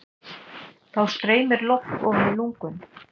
Þá streymir loft ofan í lungun.